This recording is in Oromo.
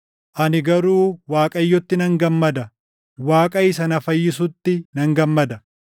ani garuu Waaqayyotti nan gammada; Waaqa isa na fayyisutti nan gammada.